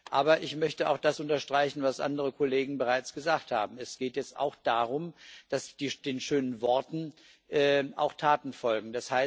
Aber ich möchte auch das unterstreichen, was andere Kollegen bereits gesagt haben Es geht jetzt auch darum, dass den schönen Worten auch Taten folgen.